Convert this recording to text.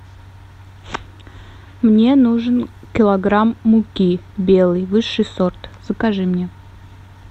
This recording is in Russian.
мне нужен килограмм муки белой высший сорт закажи мне